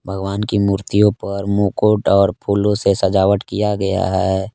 भगवान की मूर्तियों पर मुकुट और फूलों से सजावट किया गया है।